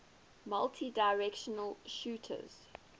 multidirectional shooters